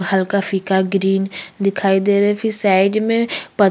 हल्का फीका ग्रीन दिखाई दे रहे फिर साइड में प --